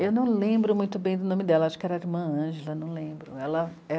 Eu não lembro muito bem do nome dela, acho que era a Irmã Ângela, não lembro, ela